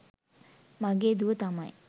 මගේ දුව තමයි